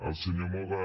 el senyor moga